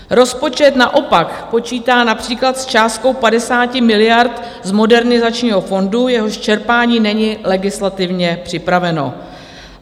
Rozpočet naopak počítá například s částkou 50 miliard z Modernizačního fondu, jehož čerpání není legislativně připraveno.